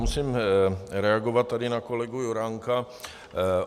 Musím reagovat tady na kolegu Juránka.